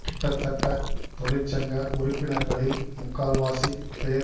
கிட்டத்தட்ட தொழிற்சங்க உறுப்பினர்களில் முக்கால்வாசிப் பேர்